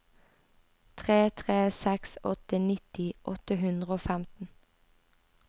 tre tre seks åtte nitti åtte hundre og femten